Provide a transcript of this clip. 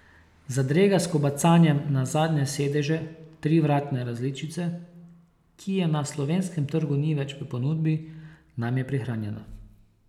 Zadrega s kobacanjem na zadnje sedeže trivratne različice, ki je na slovenskem trgu ni več v ponudbi, nam je prihranjena.